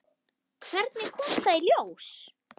Hvernig kom það í ljós?